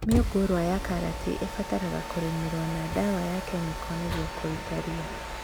Mĩũngũrwa ya karati ĩbataraga kũrĩmĩrwo na ndawa ya kemiko nĩguo kũrũta ria